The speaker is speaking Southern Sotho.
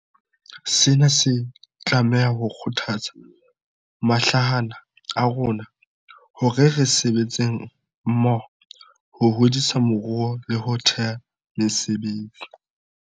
Sena se tlameha ho kgothatsa mahlahana a rona hore re sebetseng mmoho ho hodisa moruo le ho theha mesebetsi.